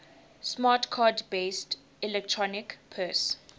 smart card based electronic purse